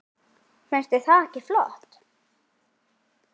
Finnst þér þetta ekki flott?